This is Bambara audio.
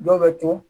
Dɔw bɛ to